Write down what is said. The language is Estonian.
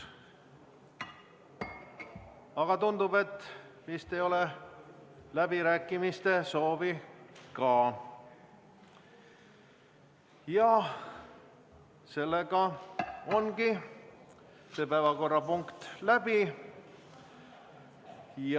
Aga tundub, et vist ei ole läbirääkimiste soovi, seega ongi see päevakorrapunkt läbitud.